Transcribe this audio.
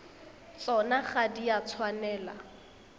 tsona ga di a tshwanela